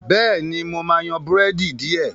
béèni mọ má yan Búrẹ́dì diẹ.